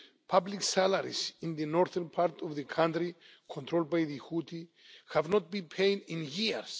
Public salaries in the northern part of the country, controlled by the Houthi, have not been paid in years.